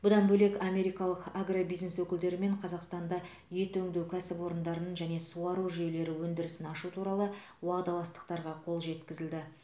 бұдан бөлек америкалық агробизнес өкілдерімен қазақстанда ет өңдеу кәсіпорындарын және суару жүйелері өндірісін ашу туралы уағдаластықтарға қол жеткізілді